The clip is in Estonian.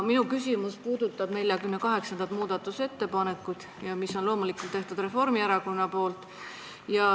Minu küsimus puudutab 48. muudatusettepanekut, mis on loomulikult Reformierakonna tehtud.